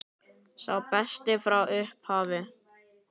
Sá besti frá upphafi?